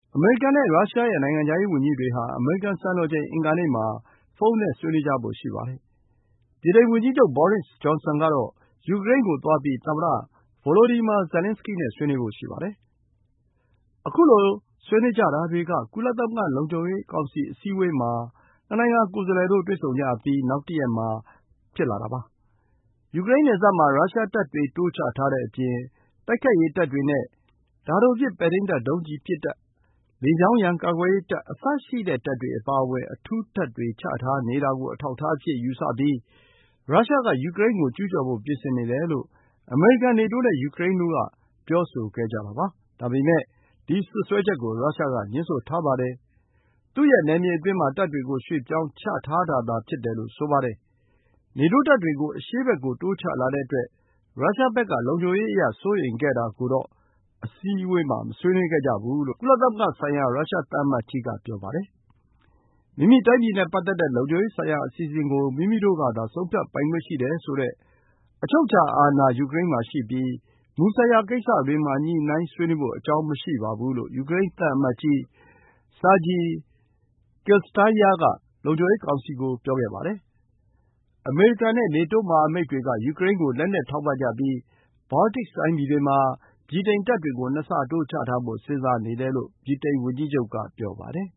အမေရိကန်နဲ့ ရုရှားတို့ရဲ့ ထိပ်တန်းသံတမန်တွေဟာ အမေရိကန် စံတော်ချိန် အင်္ဂါနေ့မှာ ဖုန်းနဲ့ ဆွေးနွေးကြဖို့ ရှိပါတယ်။ ဗြိတိန်ဝန်ကြီးချုပ် ဘောရစ်ဂျွန်ဆင်က ယူကရိန်းကို သွားပြီး သမ္မတ Volodymyr Zelenskiy နဲ့ ဆွေးနွေးဖို့ ရှိပါတယ်။ ခုလို ဆွေးနွေးကြတာတွေက ကုလသမဂ္ဂလုံခြုံရေးကောင်စီ အစည်းအဝေးမှာ နှစ်နိုင်ငံကိုယ်စားလှယ်တို့ တွေ့ဆုံကြအပြီး နောက်တရက်မှာ စကားပြောကြတာ ဖြစ်ပါတယ်။ ယူကရိန်းနယ်စပ်မှာ ရုရှားတပ်တွေ တိုးချထားတဲ့အပြင် တိုက်ခိုက်ရေးတပ်တွေနဲ့ တာတိုပစ် ပဲ့ထိန်းတပ်ဒုံးကျည်ပစ်တပ်၊ လေကြောင်းရန် ကာကွယ်ရေးတပ် အစရှိတဲ့တပ်တွေအပါအဝင် အထူးတပ်တွေ ချထားနေတာ ကို အထောက်အထားအဖြစ် ယူဆပြီး ရုရှားက ယူကရိန်းကို ကျူးကျော်ဖို့ ပြင်ဆင်နေတယ်လို့ အမေရိကန်၊ နေတိုးနဲ့ ယူကရိန်းတို့က ပြောဆိုခဲ့ကြတာပါ။ ဒါပေမဲ့ ဒီစွပ်စွဲချက်ကို ရုရှားက ငြင်းဆိုထားပါတယ်။ သူ့ရဲ့နယ်မြေအတွင်းမှာ တပ်တွေကို ရွှေ့ပြောင်းချထားတာသာ ဖြစ်တယ်လို့ဆိုပါတယ်။ နေတိုးတပ်တွေ ကို အရှေ့ဘက်ကို တိုးချလာတဲ့အတွက် ရုရှားဘက်က လုံခြုံရေးအရ စိုးရိမ်ခဲ့တာကိုတော့ အစည်းအဝေးမှာ မဆွေးနွေးဘူးလို့ ကုလသမဂ္ဂဆိုင်ရာ ရုရှား သံအမတ်ကြီးက ဆိုပါတယ်။ မိမိတိုင်းပြည်နဲ့ပတ်သက်တဲ့ လုံခြုံရေးဆိုင်ရာ အစီအစဉ်ကို မိမိတို့ကသာ ဆုံးဖြတ်ပိုင်ခွင့်ရှိတယ်ဆိုတဲ့ အချုပ်အခြာအာဏာ ယူကရိန်းမှာရှိပြီး မူဆိုင်ရာကိစ္စတွေမှာ ညှိုနှိုင်းဆွေးနွေးဖို့ အကြောင်းမရှိဘူးလို့ ယူကရိန်း သံအမတ်ကြီး Sergiy Kyslytsya က လုံခြုံရေးကောင်စီကို ပြောခဲ့ပါတယ်။ အမေရိကန်နဲ့ နေတိုး မဟာမိတ်တိုင်ငံတွေက ယူကရိန်းကို လက်နက်ထောက်ပံ့ ကြပြီး ဘောလတစ်တိုင်းပြည်တွေမှာ ဗြိတိန်တပ်တွေကို ၂ ဆတိုး ချထားဖို့ စဉ်းစားနေတယ်လို့ ဗြိတိန်ဝန်ကြီးချုပ်က ပြောပါတယ်